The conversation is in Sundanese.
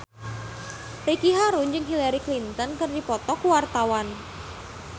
Ricky Harun jeung Hillary Clinton keur dipoto ku wartawan